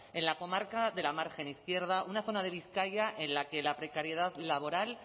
en la comarca de la margen izquierda una zona de bizkaia en la que la precariedad laboral